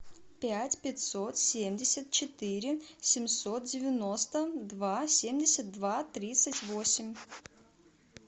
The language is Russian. пять пятьсот семьдесят четыре семьсот девяносто два семьдесят два тридцать восемь